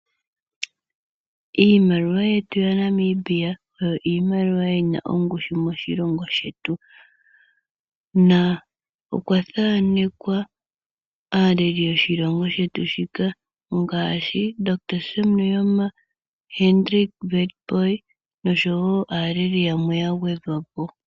Iimaliwa yetu yaNamibia oyo iimaliwa yina ongushu moshilongo shetu na okwa thanekwa aaleli yoshilongo shetu shika ngaashi omundohotola Sam Nujoma, Hendrick Witbooi oshowo aaleli yamwe ya gwedhwa po.